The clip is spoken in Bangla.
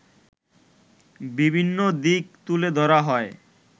বিভিন্ন দিক তুলে ধরা হয়